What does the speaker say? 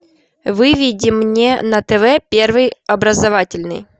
выведи мне на тв первый образовательный